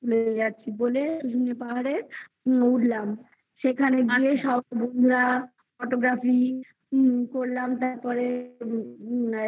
তুলে নিয়ে যাচ্ছি বলে শুনে পাহাড়ের উঠলাম সেখানে গিয়ে photography করলাম তারপরে এবারে